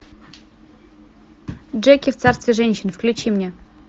джеки в царстве женщин включи мне